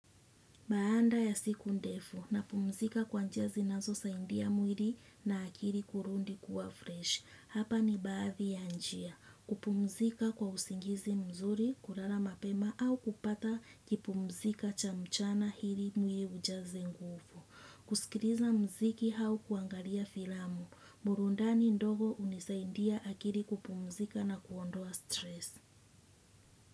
Baanda ya siku ndefu na pumzika kwa njia zinazo saindia mwiri na akiri kurundi kuwa fresh. Hapa ni baadhi ya njia. Kupumzika kwa usingizi mzuri, kurala mapema au kupata kipumzika cha mchana hiri mwiri ujaze ngufu. Kusikiriza mziki hau kuangalia filamu. Murundani ndogo unisaindia akiri kupumzika na kuondoa stress.